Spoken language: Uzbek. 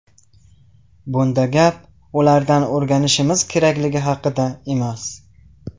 Bunda gap ulardan o‘rganishimiz kerakligi haqida emas.